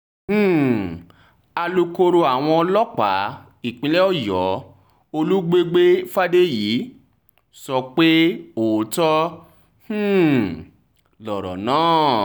um alūkkóró àwọn ọlọ́pàá ìpínlẹ̀ ọ̀yọ́ olùgbègbè fàdèyí sọ pé òótọ́ um lọ̀rọ̀ náà